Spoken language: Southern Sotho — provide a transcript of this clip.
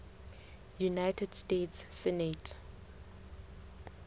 united states senate